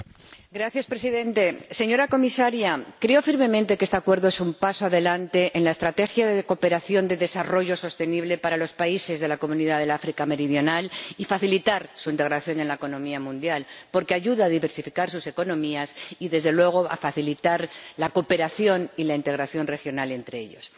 Señor Presidente, creo firmemente que este Acuerdo es un paso adelante en la estrategia de cooperación de desarrollo sostenible para los países de la comunidad del África meridional y para facilitar su integración en la economía mundial, porque ayuda a diversificar sus economías y, desde luego, a facilitar la cooperación y la integración regional entre ellos.